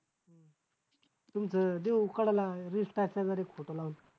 तुमचं देहू कडला एक photo लावलाय.